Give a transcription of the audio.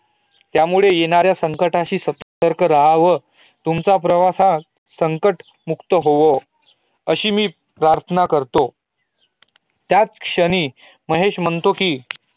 त्यामुळे येणाऱ्या संकटाशी सतर्क रहावे तुमचा प्रवास हा संकट मुक्त होवो अशी मी प्रार्थना करतो त्याचं श्रनी महेश म्हणतो की